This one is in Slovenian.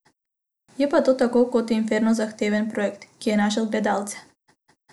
Je pa to tako kot Inferno zahteven projekt, ki je našel gledalce.